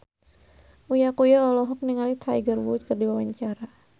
Uya Kuya olohok ningali Tiger Wood keur diwawancara